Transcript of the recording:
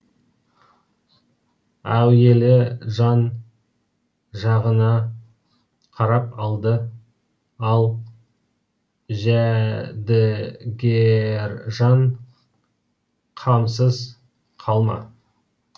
әуелі жан жағына қарап алды ал жәдігержан қамсыз қалма